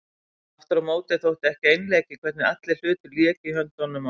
Aftur á móti þótti ekki einleikið hvernig allir hlutir léku í höndunum á